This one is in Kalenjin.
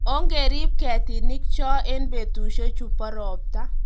ongerib kertinik cho eng' betusiechu bo robta